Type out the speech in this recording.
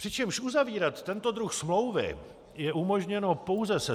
Přičemž uzavírat tento druh smlouvy je umožněno pouze se